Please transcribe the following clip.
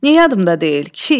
Niyə yadımdan deyil?